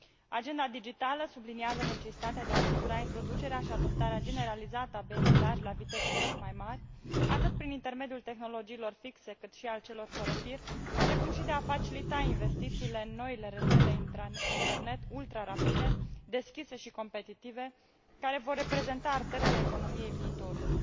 Agenda digitală subliniază necesitatea de a asigura introducerea și adoptarea generalizată a benzii largi la viteze tot mai mari, atât prin intermediul tehnologiilor fixe, cât și al celor fără fir, precum și de a facilita investițiile în noile rețele internet ultrarapide, deschise și competitive, care vor reprezenta arterele economiei viitorului.